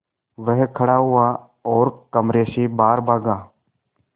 वह खड़ा हुआ और कमरे से बाहर भागा